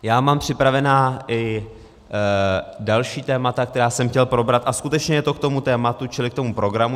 Já mám připravena i další témata, která jsem chtěl probrat, a skutečně je to k tomu tématu, čili k tomu programu.